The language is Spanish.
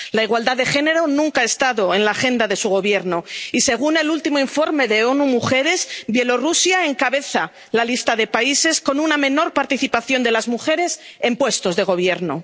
La igualdad de género nunca ha estado en la agenda de su Gobierno y, según el último informe de ONU Mujeres, Bielorrusia encabeza la lista de países con una menor participación de las mujeres en puestos de gobierno.